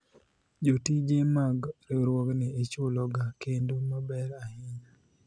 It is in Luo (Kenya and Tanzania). jotije mag riwruogni ichulo ga kendo maber ahinya